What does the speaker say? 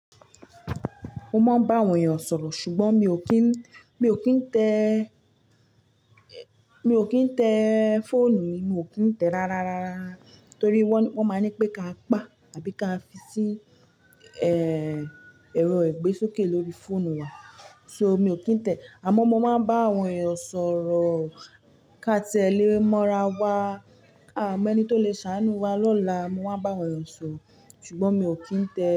Mo máa ń bá àwọn èèyàn sọ̀rọ̀ ṣùgbọ́n mi ò kí ń, mi ò kí ń tẹ́, mi ò kí ń tẹ́ fóònù mi, mi ò kí ń tẹ́ rárá rárá torí wọ́n, wọ́n máa ní pé ká pa àbí ká fi sí, ẹ́ẹ́, ẹ̀rọ ìgbésókè lórí fóònù wa. So mi ò kí ń tẹ́ àmọ́ mo máa ń bá àwọn èèyàn sọ̀rọ̀ ká ti ẹ lé mọ́ra wa ká mọ ẹni tó lè ṣàánú wa lọ́la. Mo máa ń bá àwọn èèyàn sọ̀rọ̀ ṣùgbọ́n mi ò kí ń tẹ́